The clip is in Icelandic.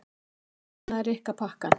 Svo opnaði Rikka pakkann.